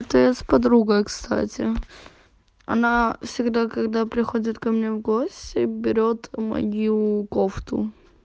это я с подругой кстати она всегда когда приходит ко мне в гости берет мою кофту